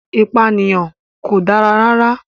Ìpànìyàn kò dára rárá.